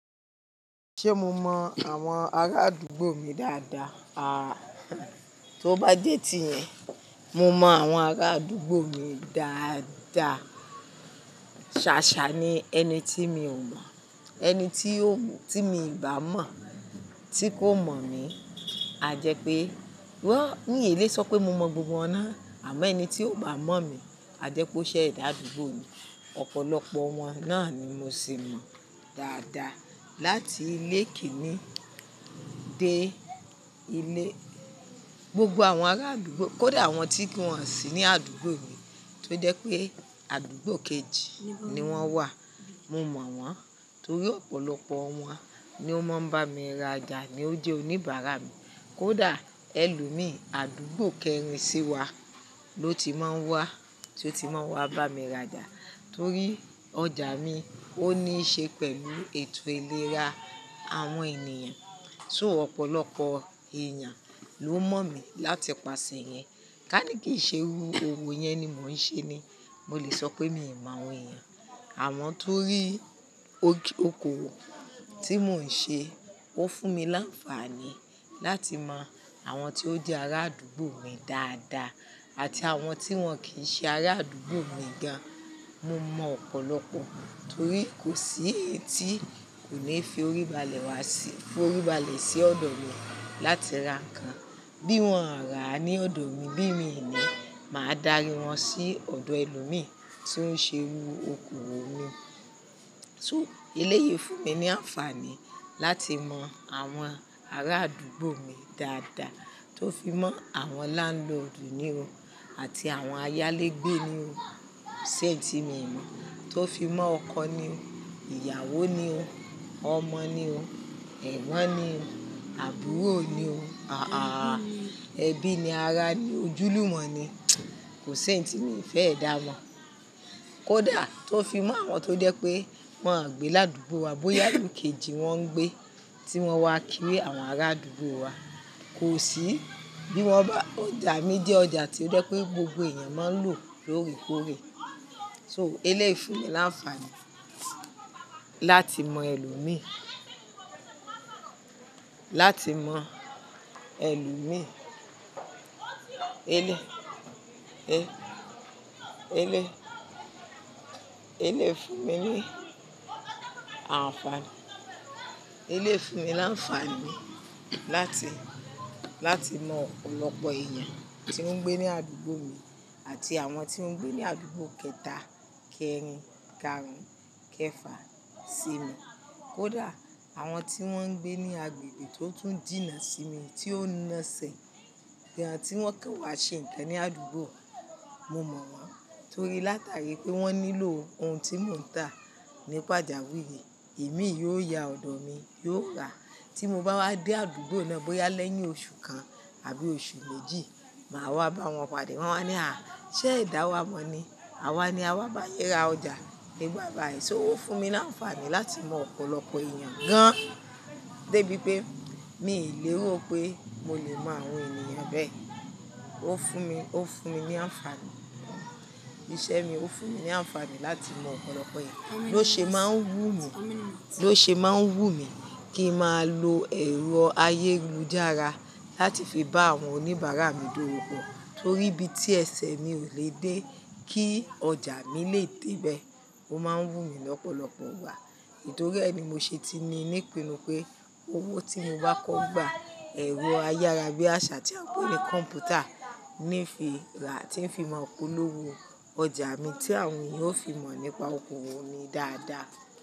Ṣé mo mọ àwọn ará àdúgbò mi dáadáa? A, tó bá jé tí yẹn, mo mọ àwọn ará àdúgbò mi dáadáa. Ṣàṣà ni ẹni tí mi ò mọ̀, ẹni tí mi bà mọ̀ tí kò mọ̀ mi. A jẹ́ pé, ní èlé sọ pé mo mọ gbogbo wọn náà, àmọ́ ẹni tí ò bá mọ̀ mi a jẹ́ kó ṣẹ́ ẹ̀dá àdúgbò mi. Ọ̀pọ̀lọpọ̀ wọn náà ni mo sì mọ̀ dáadáa. Lati ilé Kíní dé ilé, gbogbo àwọn ará àdúgbò, kó dà àwọn tí kí wọ́n sì ní àdúgbò mi tó jẹ́ pé àdúgbò kejì ni wọ́n wà. Mo mọ̀ wọ́n torí ọ̀pọ̀lọpọ̀ wọn ni ó máa ń bá mi ra ọjà ní ó jẹ́ oníbàárà mi. Kódà ẹlòmíì, àdúgbò kẹrin sí wa ló ti máa ń wá, tí ó ti máa wá bá mi ra jà torí ọjà mi ó níí ṣe pẹ̀lú ètò ìlera àwọn ènìyàn. So ọ̀pọ̀lọpọ̀ èèyàn ló mọ̀ mí láti ipasẹ̀ yẹn. Ká ní kì í ṣe irú owó yẹn ni mò ń ṣe ni, mo lè sọ pé mi ò mọ àwọn èèyàn. Àwọn tó rí okowo tí mò ń ṣe ó fún mi láǹfààní láti mọ àwọn tí ó jẹ́ ará àdúgbò mi dáadáa àti àwọn tí wọ́n kì í ṣe ará àdúgbò mi gan. Mo mọ̀ ọ̀pọ̀lọpọ̀ torí kò sí ẹni tí kò bi fi orí balẹ̀ wá sí, fi orí balẹ̀ sí ọ̀dọ̀ mi láti ra nǹkan. Bí wọ́n à rá ní ọ̀dọ̀ mi, bí mí ni, màá darí wọn sí ọ̀dọ̀ ẹlòmíì tí ó ń ṣe irú oko owó mi. So eléyìí fún mi ní àǹfààní láti mọ àwọn ará àdúgbò mi dáadáa tó fi mọ́ àwọn landlord ni o àti àwọn ayálégbé ni o. Ẹni tí mo mọ̀ tó fi mọ́ ọkọ ni o, ìyàwó ni o, ọmọ ni o, ẹ̀gbọ́n ni o, àbúrò ni o, à-à-à ẹbí ni, ará ni, ojúlùmọ̀ ni, kò sí ẹni tí mi ò fẹ́ dá mo. Kódà tó fi mọ́ àwọn tó jẹ́ pé wọ́n gbé ní àdúgbò wa, bóyá àdúgbò kejì wọ́n ń gbé tí wọ́n wá kí àwọn ará àdúgbò wa, kò sí. Bí wọ́n bá, ọjà mi jẹ́ ọjà tí ó jẹ́ pé gbogbo èèyàn máa ń lò lóòrèkóòrè. So eléyìí fún mi láǹfààní láti mọ ẹlòmíì, láti mọ ẹlòmíì. Eléyìí fún mi ní àǹfààní, eléyìí fún mi láǹfààní láti, láti mọ ọ̀pọ̀lọpọ̀ èèyàn tí oun ń gbé ní àdúgbò mi àti àwọn tí ń gbé ní àdúgbò kẹta, kẹrin, kẹrin, kẹfà sí mi. Kódà àwọn tí wọ́n ń gbé ní agbègbè tó tún jìnà sí mi tí ó ń naaṣẹ̀, bí àwọn tí wọ́n kẹ́ wa ṣe nǹkan ní àdúgbò, mo mọ̀ wọ́n torí látàrí pé wọ́n nílò ohun tí mò ń tà nípajawirii, èmi yóò ya ọ̀dọ̀ mi, yóò rà. Tí mo bá wá dé àdúgbò náà bóyá lẹ́yìn oṣù kan àbí oṣù méjì, màá wá bá wọn pade. Wọn máa ní, "à, ṣé edá wa mọ̀ ni? Àwa ni a wá bá yin ra ọjà nígbà báa yii". So ó fún mi láǹfààní láti mọ ọ̀pọ̀lọpọ̀ èèyàn gan. Débi pé mi lè rò pé mo lè mọ àwọn ènìyàn bẹ́ẹ̀. Ó fún mi, ó fún mi ní àǹfààní. Iṣẹ́ mi ó fún mi ní àǹfààní láti mọ ọ̀pọ̀lọpọ̀ èèyàn ló ṣe máa ń wù mí, ló ṣe máa ń wù mí kí ń máa lo ẹ̀rọ ayélujára láti fi bá àwọn oníbàárà mi dọ́wo pọ̀, torí bí tí ẹsẹ̀ mi ò lè dé kí ọjà mi lè dé ibẹ̀, ó máa ń wù mí lọ́pọ̀lọpọ̀ wá. Tori ẹ́ẹ́ ni mo ṣe ti ní nípinnu pé owó tí mo bá kọ́ gbà, ẹ̀rọ ayára bí àṣá tí a ń pè ní kọ̀m̀pútà ní fi rà tí ń fi mọ̀ pọ́lọowó ọjà mi tí àwọn èèyàn ó fi mọ̀ nípa okòwò mi dáadáa.